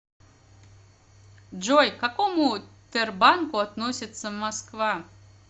джой к какому тербанку относится москва